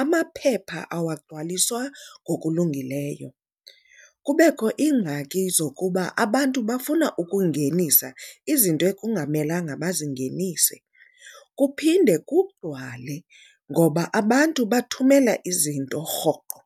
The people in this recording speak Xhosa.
amaphepha awagcwalisa ngokulungileyo. Kubekho iingxaki zokuba abantu bafuna ukungenisa izinto ekungamelanga bazingenise, kuphinde kugcwale ngoba abantu bathumela izinto rhoqo.